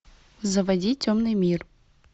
заводи темный мир